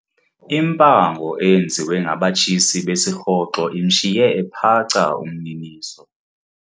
Impango eyenziwe ngabatshisi besirhoxo imshiye ephaca umniniso.